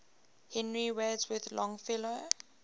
henry wadsworth longfellow